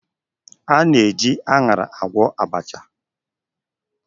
A na-eji aṅara agwọ abacha.